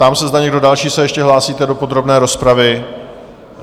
Ptám se, zda někdo další se ještě hlásíte do podrobné rozpravy?